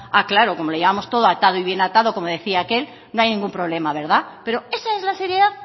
claro como lo llevamos todo atado y bien atado como decía aquel no hay ningún problema verdad pero esa es la seriedad